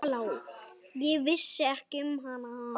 Ég vissi ekki um hana.